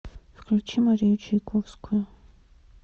включи марию чайковскую